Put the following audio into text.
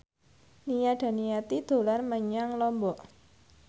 Nia Daniati dolan menyang Lombok